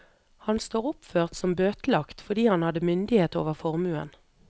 Han står oppført som bøtelagt fordi han hadde myndighet over formuen.